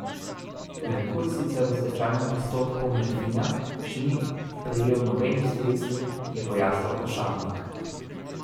Merkur sicer v stečajnem postopku Merfina še ni prejel nobenih sredstev, je pojasnil Ošabnik.